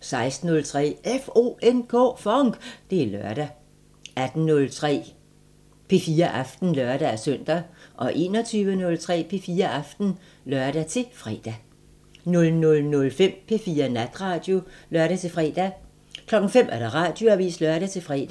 16:03: FONK! Det er lørdag 18:03: P4 Aften (lør-søn) 21:03: P4 Aften (lør-fre) 00:05: P4 Natradio (lør-fre) 05:00: Radioavisen (lør-fre)